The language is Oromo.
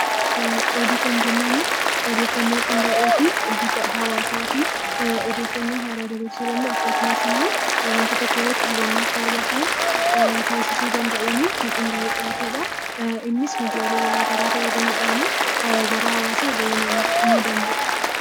Oduu kan jennuun odeeffannoo qindaa'ee , bifa hawwataa fi haaraa akkasumas immoo waanta tokko kan ittiin hubannu taasisuu danda'uun innis miidiyaa garaagaraa fayyadamuudhaan gara hawaasaa gahuu danda'a.